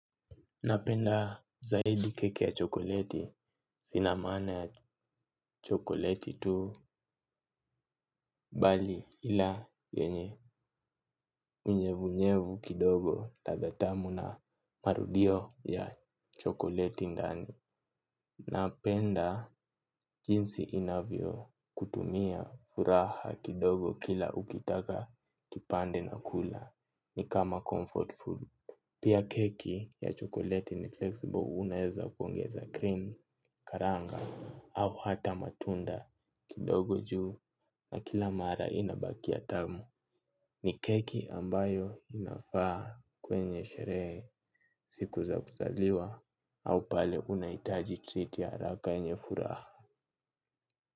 Napenda zaidi keki ya chokoleti sinamaana ya chokoleti tu bali ila yenye mnyevunyevu kidogo latha tamu na marudio ya chokoleti ndani. Napenda jinsi inavyo kutumia furaha kidogo kila ukitaka kipande na kula ni kama comfort food. Pia keki ya chocolate ni flexible unaeza kuongeza cream, karanga au hata matunda kidogo juu na kila mara inabakia tamu. Ni keki ambayo inafaa kwenye sherehe siku za kuzaliwa au pale unaitaji treat ya haraka yenye furaha.